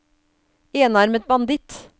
enarmet banditt